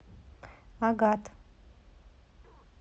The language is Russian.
агат